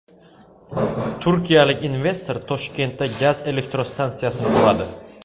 Turkiyalik investor Toshkentda gaz elektrostansiyasini quradi.